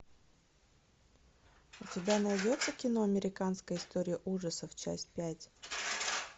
у тебя найдется кино американская история ужасов часть пять